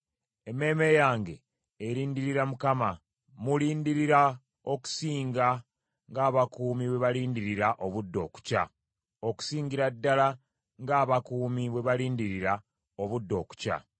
Emmeeme yange erindirira Mukama; mmulindirira okusinga ng’abakuumi bwe balindirira obudde okukya; okusingira ddala ng’abakuumi bwe balindirira obudde okukya.